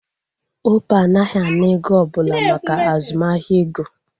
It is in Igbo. Opay anaghị ana ego ọbụla maka azụmahịa ego